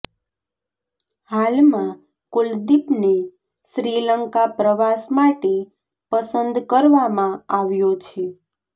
હાલમાં કુલદીપ ને શ્રીલંકા પ્રવાસ માટે પસંદ કરવામાં આવ્યો છે